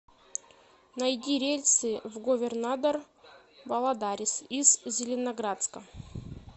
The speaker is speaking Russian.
найди рейсы в говернадор валадарис из зеленоградска